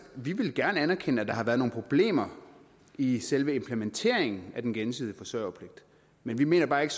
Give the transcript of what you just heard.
vi vil gerne anerkende at der har været nogle problemer i selve implementeringen af den gensidige forsørgerpligt men vi mener bare ikke